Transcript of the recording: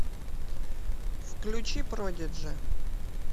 включи продиджи